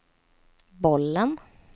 bollen